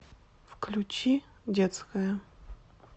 включи детская